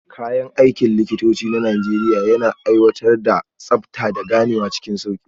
Kayan aikin likitanci na Najeriya yana aiwatar da tsabta, da ganewa cikin sauki.